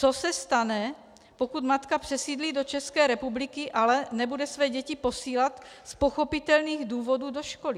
Co se stane, pokud matka přesídlí do České republiky, ale nebude své děti posílat z pochopitelných důvodů do školy?